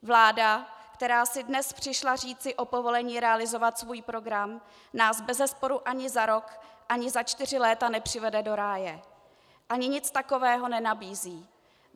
Vláda, která si dnes přišla říci o povolení realizovat svůj program, nás bezesporu ani za rok, ani za čtyři léta nepřivede do ráje a ani nic takového nenabízí.